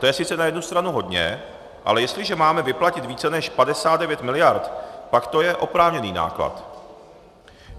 To je sice na jednu stranu hodně, ale jestliže máme vyplatit více než 59 miliard, pak to je oprávněný náklad.